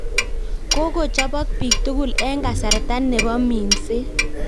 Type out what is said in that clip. Keiko chopog pig tukul en kasarta nepo minset.